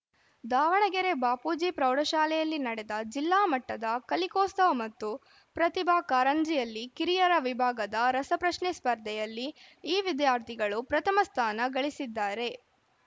ದಾವಣಗೆರೆ ಬಾಪೂಜಿ ಪ್ರೌಢಶಾಲೆಯಲ್ಲಿ ನಡೆದ ಜಿಲ್ಲಾ ಮಟ್ಟದ ಕಲಿಕೋತ್ಸವ ಮತ್ತು ಪ್ರತಿಭಾ ಕಾರಂಜಿಯಲ್ಲಿ ಕಿರಿಯರ ವಿಭಾಗದ ರಸಪ್ರಶ್ನೆ ಸ್ಪರ್ಧೆಯಲ್ಲಿ ಈ ವಿದ್ಯಾರ್ಥಿಗಳು ಪ್ರಥಮ ಸ್ಥಾನ ಗಳಿಸಿದ್ದಾರೆ